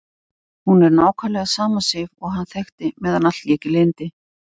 Hún er nákvæmlega sama Sif og hann þekkti meðan allt lék í lyndi.